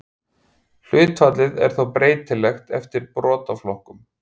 Hlutfallið er þó breytilegt eftir brotaflokkum.